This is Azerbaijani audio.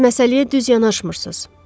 Siz məsələyə düz yanaşmırsız.